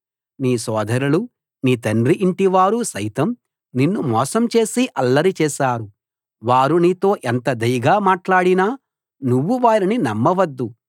నీ సోదరులు నీ తండ్రి ఇంటివారు సైతం నిన్ను మోసం చేసి అల్లరి చేశారు వారు నీతో ఎంత దయగా మాటలాడినా నువ్వు వారిని నమ్మవద్దు